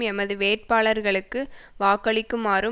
எமது வேட்பாளர்களுக்கு வாக்களிக்குமாறும்